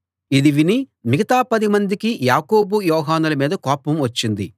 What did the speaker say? ఇది విని మిగతా పదిమందికి యాకోబు యోహానుల మీద కోపం వచ్చింది